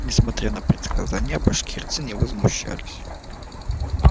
несмотря на предсказания башкирцы не возмущались